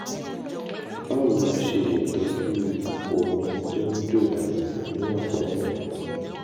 báwo la ṣe lè tọ́jú omi tó ń jò dànù ní ọ̀pá ẹ̀yìn?